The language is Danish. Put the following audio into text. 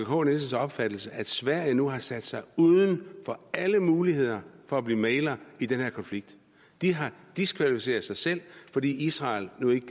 k nielsens opfattelse at sverige nu har sat sig uden for alle muligheder for at blive mægler i den her konflikt de har diskvalificeret sig selv fordi israel nu ikke